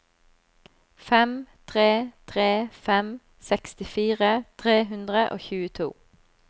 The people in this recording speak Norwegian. fem tre tre fem sekstifire tre hundre og tjueto